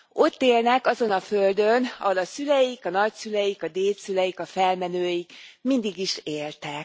Ott élnek azon a földön, ahol a szüleik, a nagyszüleik, a dédszüleik, a felmenőik mindig is éltek.